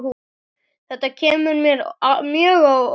Þetta kemur mér mjög óvart.